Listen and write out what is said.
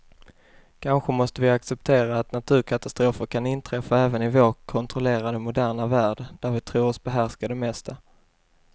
Kanske måste vi acceptera att naturkatastrofer kan inträffa även i vår kontrollerade, moderna värld där vi tror oss behärska det mesta.